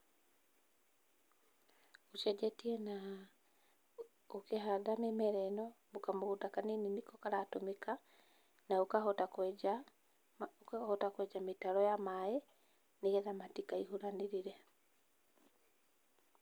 Ũcenjetie na ũkĩhanda mĩmera ĩno, kamũgũnda kanini nĩko karatũmĩka na ũkahota kwenja mĩtaro ya maĩ nĩ getha matikaihũranĩrĩre.